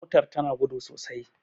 motar tana gudu sosai